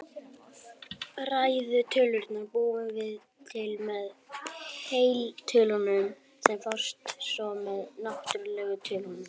Þar við bætast svo eiturefni sem hugsanlega hafa tekið sér far með plastinu.